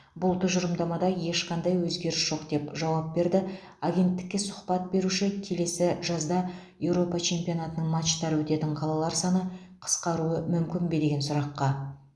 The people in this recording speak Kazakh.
бұл тұжырымдамада ешқандай өзгеріс жоқ деп жауап берді агенттікке сұхбат беруші келесі жазда еуропа чемпионатының матчтары өтетін қалалар саны қысқаруы мүмкін бе деген сұраққа